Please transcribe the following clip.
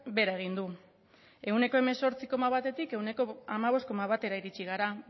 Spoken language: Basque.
behera egin du ehuneko hemezortzi koma batetik ehuneko hamabost koma batera iritsi gara